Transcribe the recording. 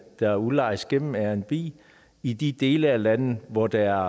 der udlejes gennem airbnb i i de dele af landet hvor der